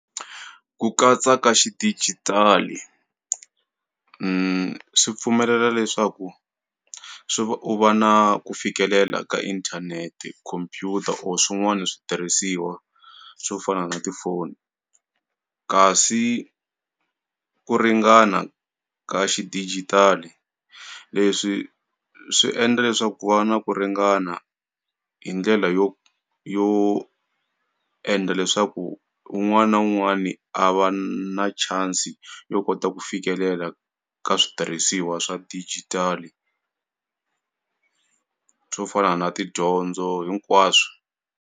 ku katsa ka xidijitali swi pfumelela leswaku swi va u va na ku fikelela ka inthanete computer or swin'wani switirhisiwa swo fana na tifoni kasi ku ringana ka xidijitali leswi swi endla leswaku ku va na ku ringana hi ndlela yo yo endla leswaku wun'wani na wun'wani a va na chance yo kota ku fikelela ka switirhisiwa swa dijitali swo fana na tidyondzo hinkwaswo.